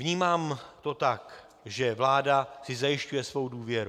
Vnímám to tak, že vláda si zajišťuje svou důvěru.